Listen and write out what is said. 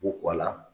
K'u kɔ a la